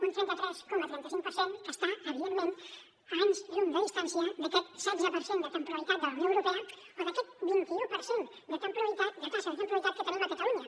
un trenta tres coma trenta cinc per cent que està evidentment a anys llum de distància d’aquest setze per cent de temporalitat de la unió europea o d’aquest vint i u per cent de taxa de temporalitat que tenim a catalunya